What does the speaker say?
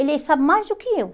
Ele sabe mais do que eu.